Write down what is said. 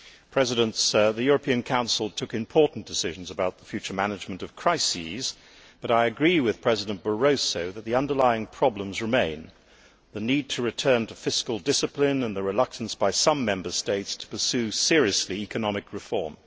Mr President, the European Council took important decisions about the future management of crises, but I agree with President Barroso that the underlying problems remain the need to return to fiscal discipline and the reluctance by some Member States to pursue seriously economic reform.